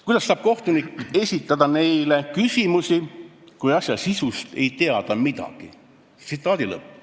Kuidas saab kohtunik esitada neile küsimusi, kui asja sisust ei tea ta midagi?